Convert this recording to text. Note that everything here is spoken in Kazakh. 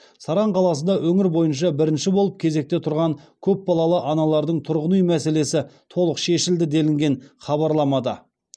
саран қаласында өңір бойынша бірінші болып кезекте тұрған көп балалы аналардың тұрғын үй мәселесі толық шешілді делінген хабарламада